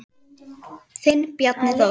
Þinn Bjarni Þór.